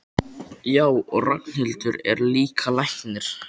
Já, og Ragnhildur er líka læknir.